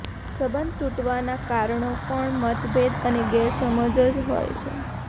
સંબંધ તૂટવાના કારણો પણ મતભેદ અને ગેરસમજ જ હોય છે